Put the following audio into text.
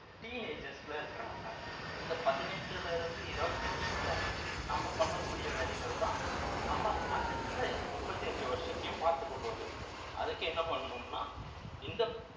teenages ல இருக்கிறவங்க இந்த பதினெட்டுல இருந்து இருபத்தி அஞ்சுக்குள்ள நம்ம பண்ணக்கூடிய வேலைகள்தான் நம்ம அடுத்த முப்பத்தி அஞ்சு வருஷத்தையும் பார்த்துக்க போகுது அதுக்கு என்ன பண்ணணும்னா இந்த